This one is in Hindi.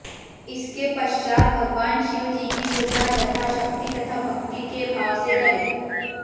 इसके पश्चात भगवान शिव जी की पूजा जथा शक्ति तथा भक्ति के भाव से करें